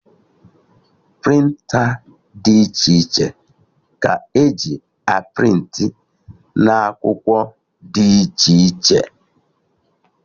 Prịnta dị iche iche ka eji a prịntị na akwụkwọ dị iche iche